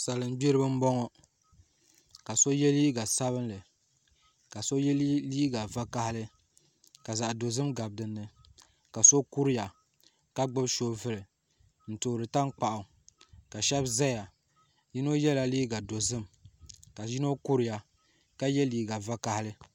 Salin gbiribi n boŋo ka so yɛ liiga sabinli ka so yɛ liiga ʒiɛ ka zaɣ dozim kabi dinni ka so kuriya ka gbubi soobuli n toori tankpaɣu ka shab ʒɛya ka bi yino yɛla liiga dozim ka yino kuriya ka yɛ liiga vakaɣali